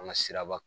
An ka siraba